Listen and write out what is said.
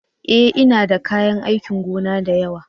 E! Ina da kayan aikin gona da yawa.